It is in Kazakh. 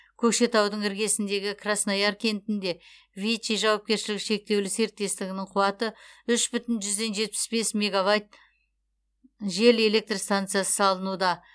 көкшетаудың іргесіндегі краснояр кентінде вичи жауапкершілігі шектеулі серіктестігінің қуаты үш бүтін жүзден жетпіс бес мегавайт жел электр станциясы салынуда